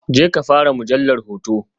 Jeka fara mujallar hoto.